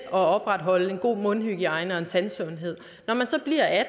at opretholde en god mundhygiejne og tandsundhed når man så bliver